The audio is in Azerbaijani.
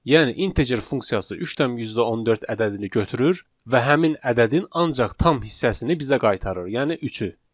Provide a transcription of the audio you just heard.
Yəni integer funksiyası 3,14 ədədini götürür və həmin ədədin ancaq tam hissəsini bizə qaytarır, yəni üçü.